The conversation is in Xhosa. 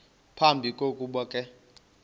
phambi kokuba ke